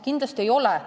Kindlasti ei ole.